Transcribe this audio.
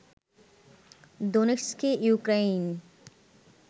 দোনেস্কে Ukraine